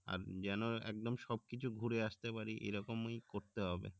আর যেন একদম সবকিছু ঘুরে আসতে পারি এরকমই করতে হবে